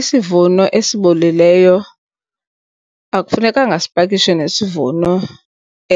Isivuno esibolileyo akufunekanga sipakishwe nesivuno